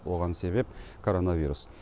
оған себеп коронавирус